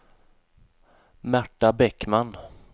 Märta Bäckman